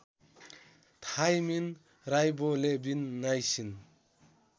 thymine riboflavin niacin